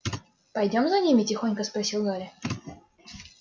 пойдём за ними тихонько спросил гарри